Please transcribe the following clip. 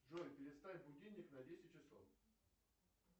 джой переставь будильник на десять часов